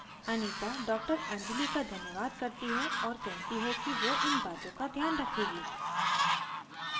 anita डॉ anjali का धन्यवाद करती है और कहती है कि वो इन बातों का ध्यान रखेगी